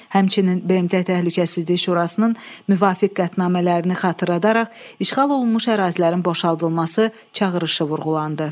Həmçinin BMT Təhlükəsizlik Şurasının müvafiq qətnamələrini xatırladaraq işğal olunmuş ərazilərin boşaldılması çağırışı vurğulandı.